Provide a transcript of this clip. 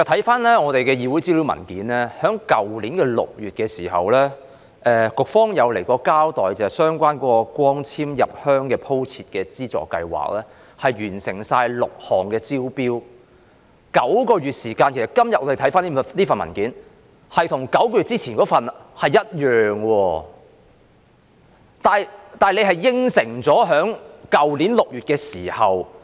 翻查我們的議會資料文件，在去年6月，局方曾出席立法會的一個會議，交代在相關光纖入鄉鋪設的資助計劃下，已完成6項工程的招標工作，但我們今天翻看這份文件，跟9個月之前的那份文件的內容是非常相似的，但是，政府在去年6月已答應......